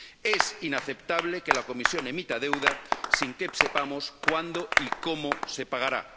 Es inaceptable que la Comisión emita deuda sin que sepamos cuándo y cómo se pagará.